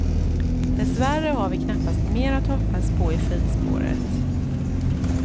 Dessvärre har vi knappast mer att hoppas på i skidspåret.